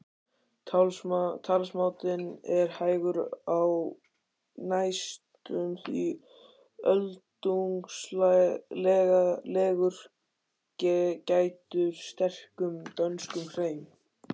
Talsmátinn er hægur, næstum því öldungslegur, gæddur sterkum dönskum hreim.